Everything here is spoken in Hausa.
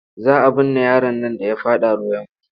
Za a binne yaron nan da ya faɗa ruwa ya mutu.